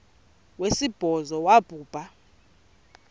wesibhozo wabhu bha